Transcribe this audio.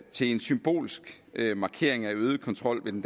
symbolsk markering af øget kontrol ved den